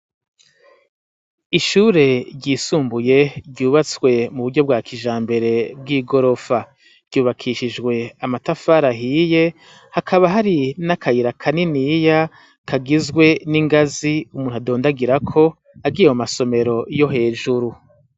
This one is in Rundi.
Ishure ryisumbuye ryubatswe mu buryo bwa kijambere bw'igorofa. Ryubakishijwe amatafari ahiye hakaba hari n'akayira kaniniya kagizwe n'ingazi umuntu adondagira ko agiye mu masomero yo hejuru.